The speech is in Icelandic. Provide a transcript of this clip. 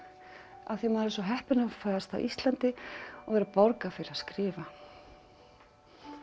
af því maður er svo heppinn að fæðast á Íslandi og vera borgað fyrir að skrifa